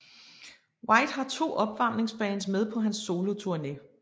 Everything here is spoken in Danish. White har 2 opvarmingsbands med på hans soloturne